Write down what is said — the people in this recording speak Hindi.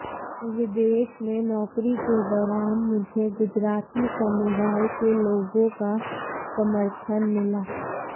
विदेश में नौकरी के दौरान मुझे गुजराती समुदाय के लोगों का समर्थन मिला